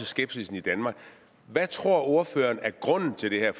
skepsis i danmark hvad tror ordføreren er grunden til det her